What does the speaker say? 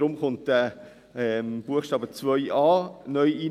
Deshalb kommt auch der Buchstabe 2a (neu) hinein: